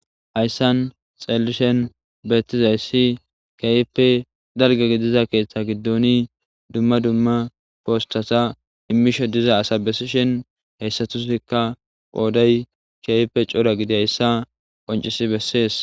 ayssan xeelishen betizayssi keype dalge gidiza keeththa giddoni dumma dumma poostata immishe diza asa bessishen heyssatusikka pooday keype cora gidi hayssa qoncisi bessees